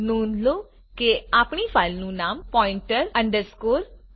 નોંધ લો કે આપની ફાઈલનું નામ pointer democ છે